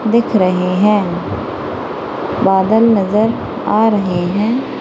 दिख रहे हैं बादल नजर आ रहे हैं।